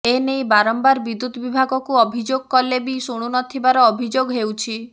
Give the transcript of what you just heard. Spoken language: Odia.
ଏନେଇ ବାରମ୍ବାର ବିଦୁ୍ୟତ ବିଭାଗକୁ ଅଭିଯୋଗ କଲେ ବି ଶୁଣୁ ନଥିବାର ଅଭିଯୋଗ ହେଉଛି